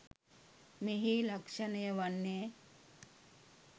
මෙහි ලක්‍ෂණය වන්නේ